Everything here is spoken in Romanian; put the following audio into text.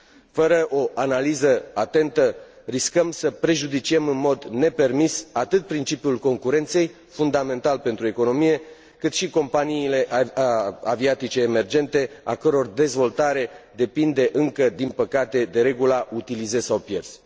Fără o analiză atentă, riscăm să prejudiciem în mod nepermis atât principiul concurenței, fundamental pentru economie, cât și companiile aviatice emergente, a căror dezvoltare depinde încă, din păcate, de regula utilizezi sau pierzi.